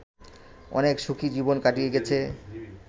অনেক সুখী জীবন কাটিয়ে গেছে